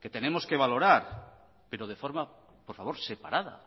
que tenemos que valorar pero de forma por favor separada